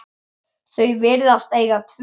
Þau virðast eiga tvö börn.